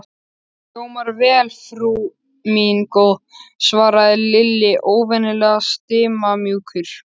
Hljómar vel, frú mín góð svaraði Lilli, óvenju stimamjúkur.